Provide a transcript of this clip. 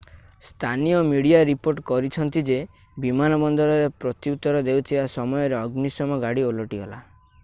ସ୍ଥାନୀୟ media report କରିଛନ୍ତି ଯେ ବିମାନବନ୍ଦରରେ ପ୍ରତ୍ୟୁତର ଦେଉଥିବା ସମୟରେ ଅଗ୍ନିଶମ ଗାଡି ଓଲଟିଗଲା